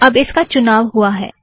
अब इसका चुनाव हुआ है